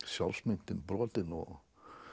sjálfsmyndin brotin og